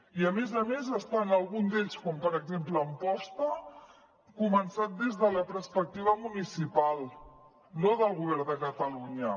i a més a més està algun d’ells com per exemple amposta començat des de la perspectiva municipal no del govern de catalunya